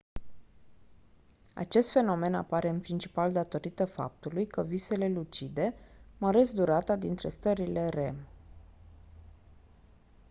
acest fenomen apare în principal datorită faptului că visele lucide măresc durata dintre stările rem